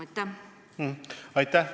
Aitäh!